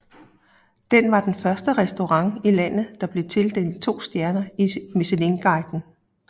Den var den første restaurant i landet der blev tildelt to stjerner i Michelinguiden